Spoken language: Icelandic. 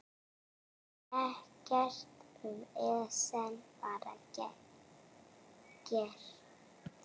Ekkert vesen, bara gert.